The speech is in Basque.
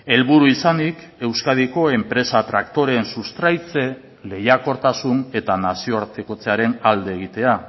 helburu izanik euskadiko enpresa traktoreen sustraitze lehiakortasun eta nazioartekotzearen alde egitea